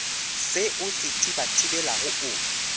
se o se thibathibelago o